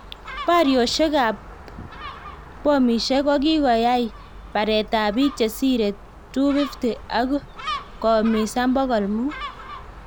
Boryosiek ab pomisiek kokiyai bareet ab biik chesire 250 ak koumisan pokol muut